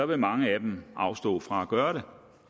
vil mange af dem afstå fra at gøre